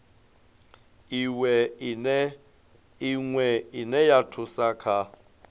iwe ine ya thusa kha